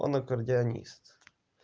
он акардеонист